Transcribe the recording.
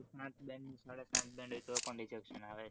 તો પણ rejection આવે છે